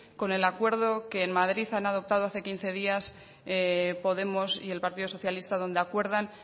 con el acuerdo que en madrid han adoptado hace quince días podemos y el partido socialista donde acuerdan